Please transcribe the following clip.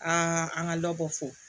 Aa an ka dɔ bɔ fo